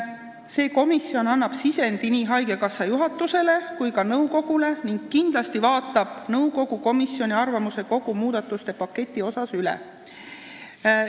See komisjon annab sisendi nii haigekassa juhatusele kui ka nõukogule ning kindlasti vaatab nõukogu komisjoni arvamuse, kogu muudatuste paketi üle.